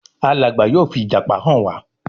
Alàgbà yóò fi ìjàpá hàn wá